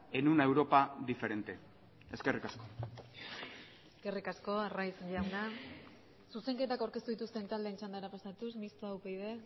en una europa diferente eskerrik asko eskerrik asko arraiz jauna zuzenketak aurkeztu dituzten taldeen txandara pasatuz mistoa upyd